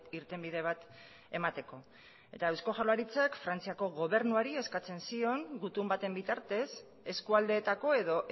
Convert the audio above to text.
irtenbide bat emateko eta eusko jaurlaritzak frantziako gobernuari eskatzen zion gutun baten bitartez eskualdeetako edo